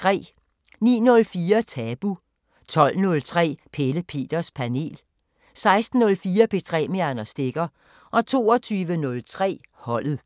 09:04: Tabu 12:03: Pelle Peters Panel 16:04: P3 med Anders Stegger 22:03: Holdet